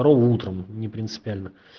утром не принципиально